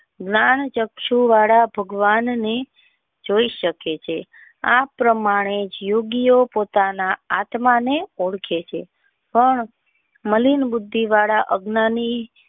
જ્ઞાન ચકસુ વાળા ભગવાન ને જોઈ શકે છે આ પ્રમાણે જોગી ઓ પોતાના આત્મા ને ઓળખે છે પણ મેલિન બુદ્ધિ વાળા અજ્ઞાની.